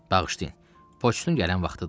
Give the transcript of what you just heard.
Bağışlayın, poçtun gələn vaxtıdır.